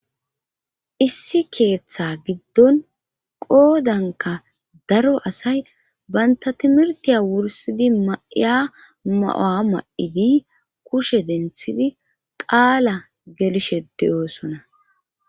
Issi keeththa giddon qoodanka daro asay baynta timirtiya wursidi ma'ya ma'a ma'idi kushe denthidi qaala gelishe deyooson.